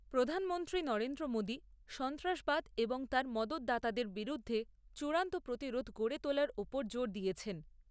প্রধানমন্ত্রী নরেন্দ্র মোদি সন্ত্রাসবাদ এবং তার মদতদাতাদের বিরুদ্ধে চূড়ান্ত প্রতিরোধ গড়ে তোলার উপর জোর দিয়েছেন।